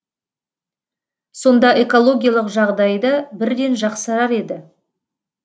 сонда экологиялық жағдай да бірден жақсарар еді